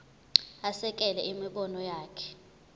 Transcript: asekele imibono yakhe